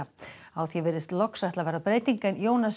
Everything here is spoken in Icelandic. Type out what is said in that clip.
á því virðist loks ætla að verða breyting en